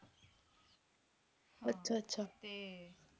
ਅੱਛਾ ਅੱਛਾ